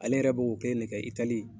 Ale yɛrɛ b'o kelen de kɛ itali yen